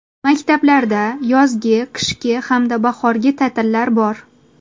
Maktablarda yozgi, qishki hamda bahorgi ta’tillar bor.